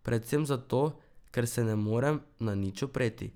Predvsem zato, ker se ne morem na nič opreti.